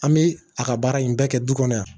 An bɛ a ka baara in bɛɛ kɛ du kɔnɔ yan